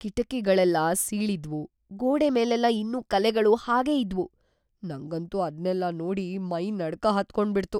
ಕಿಟಕಿಗಳೆಲ್ಲ ಸೀಳಿದ್ವು, ಗೋಡೆ ಮೇಲೆಲ್ಲ ಇನ್ನೂ ಕಲೆಗಳು ಹಾಗೇ ಇದ್ವು.. ನಂಗಂತೂ ಅದ್ನೆಲ್ಲ ನೋಡಿ ಮೈ ನಡ್ಕ ಹತ್ಕೊಂಬಿಡ್ತು.